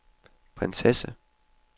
prinsesse